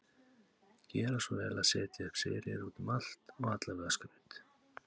Gera svo vel að setja upp seríur út um allt og allavega skraut.